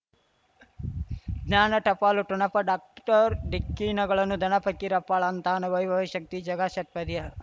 ಜ್ಞಾನ ಟಪಾಲು ಠೊಣಪ ಡಾಕ್ಟರ್ ಢಿಕ್ಕಿ ಣಗಳನು ಧನ ಫಕೀರಪ್ಪ ಳಂತಾನೆ ವೈಭವ್ ಶಕ್ತಿ ಝಗಾ ಷಟ್ಪದಿಯ